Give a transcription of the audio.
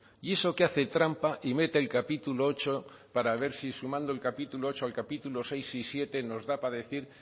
y eso que hace trampa y mete el capítulo ocho para ver si sumando el capítulo ocho al capítulo seis y siete nos da para decir